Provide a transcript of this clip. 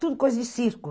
Tudo coisa de circo.